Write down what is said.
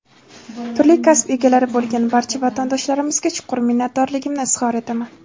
turli kasb egalari bo‘lgan barcha vatandoshlarimizga chuqur minnatdorligimni izhor etaman.